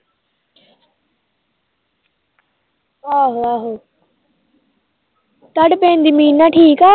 ਆਹੋ ਆਹੋ ਤਾਡੇ ਪਿੰਡ ਦੀ ਮੀਨਾ ਠੀਕ ਆ